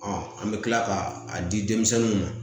an bɛ tila ka a di denmisɛnninw ma